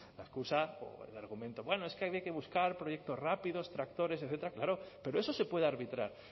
la excusa o el argumento bueno es que había que buscar proyectos rápidos tractores etcétera claro pero eso se puede arbitrar